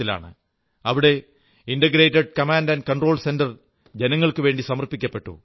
അവിടെ integrated command control centre ജനങ്ങൾക്കുവേണ്ടി സമർപ്പിച്ചു